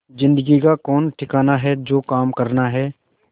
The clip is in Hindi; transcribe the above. जिंदगी का कौन ठिकाना है जो काम करना है